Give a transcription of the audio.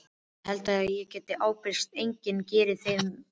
Ég held ég geti ábyrgst að enginn geri þér mein.